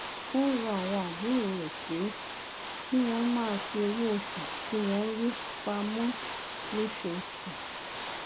ó ń rọ àwọn àbúrò rè pé kí wón máa fi owó oṣù tí wón ń rí pa mó lóṣooṣù